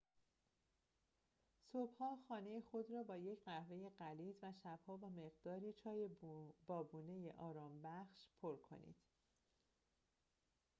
صبح‌ها خانه خود را با یک قهوه غلیظ و شب‌ها با مقداری چای بابونه‌ی آرامش‌بخش پر کنید